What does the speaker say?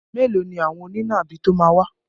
Mẹ́lòó ni àwọn onínàbì tó máa wá.